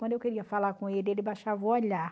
Quando eu queria falar com ele, ele baixava o olhar